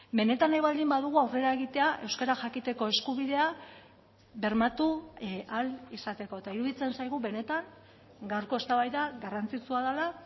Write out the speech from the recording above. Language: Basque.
benetan nahi baldin badugu aurrera egitea euskara jakiteko eskubidea bermatu ahal izateko eta iruditzen zaigu benetan gaurko eztabaida garrantzitsua dela